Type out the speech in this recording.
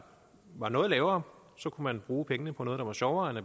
var noget lavere så kunne man bruge pengene på noget der var sjovere end at